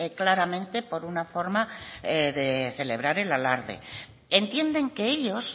claramente por una forma de celebrar el alarde entienden que ellos